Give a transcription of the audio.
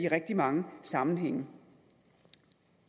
rigtig mange sammenhænge